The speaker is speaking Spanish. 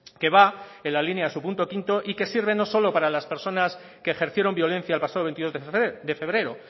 que va en la línea en su punto quinto y que sirven no solo para las personas que ejercieron violencia el pasado veintidós de febrero